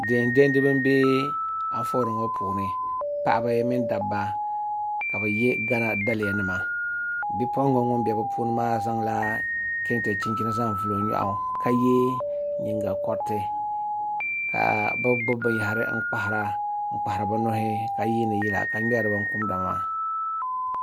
Diɛn diɛmdibi n bɛ Anfooni ŋo puuni paɣaba mini dabba ka bi yɛ gana daliya nima bipuɣunbili ŋun bɛ bi puuni maa zaŋla kɛntɛ chinchini zaŋ vuli o nyoɣu ka yɛ nyingokoriti ka bi gbuni binyahari n kpahara bi nuhi ka ŋmɛri yila ka wumdi binkumda maa